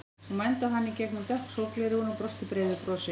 Hún mændi á hann í gegnum dökk sólgleraugu og brosti breiðu brosi.